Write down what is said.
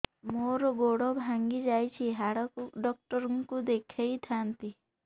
ମୋର ଗୋଡ ଭାଙ୍ଗି ଯାଇଛି ହାଡ ଡକ୍ଟର ଙ୍କୁ ଦେଖେଇ ଥାନ୍ତି